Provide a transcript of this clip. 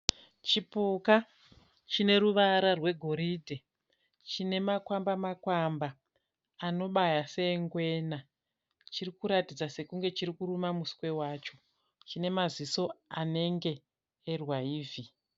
Chipuka chine ruvara rwegoridhe. Chine makwamba makwamba anobaya seengwena. Chiri kuratidza sekunge chiri kuruma muswe wacho. Chine maziso anenge erwaivhi.